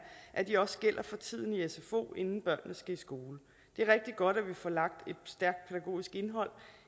at de også gælder for tiden i sfo inden børnene skal i skole det er rigtig godt at vi får lagt et stærkt pædagogisk indhold